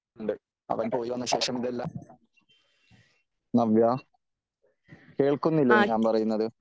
അവൻ പോയി വന്ന ശേഷം ഇതെല്ലാം നവ്യാ കേളക്കുന്നില്ലേ? ഞാൻ പറയുന്നത്